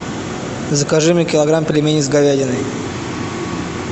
закажи мне килограмм пельменей с говядиной